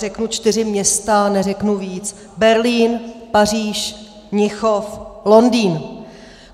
Řeknu čtyři města, neřeknu víc: Berlín, Paříž, Mnichov, Londýn!